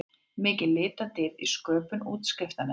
Mikil litadýrð í sköpun útskriftarnema